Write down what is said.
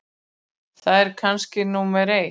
Það er kannski númer eitt.